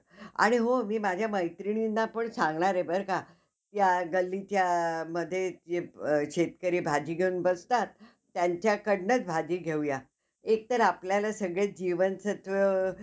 आणि हो मी माझ्या मैत्रिणींना पण सांगणार आहे बरं का कि गल्लीमध्ये शेतकरी भाजी घेऊन बसतात त्यांच्याकडनंच भाजी घेउया. एकतर आपल्याला सगळे जीवनसत्व